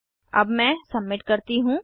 अब मैं सबमिट करती हूँ